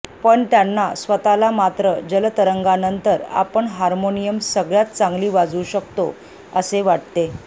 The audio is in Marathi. पण त्यांना स्वतःला मात्र जलतरंगानंतर आपण हार्मोनियम सगळ्यात चांगली वाजवू शकतो असे वाटते